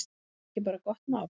Er það ekki bara gott mál?